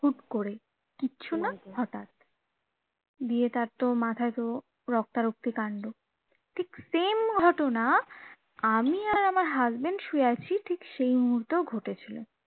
হুট্ করে কিছু না হটাৎ দিয়ে তার তো মাথায় তো রক্তারক্তি কান্ড ঠিক same ঘটনা আমি আর আমার husband শুয়ে আছি ঠিক সেই মুহূর্তেও ঘটেছিলো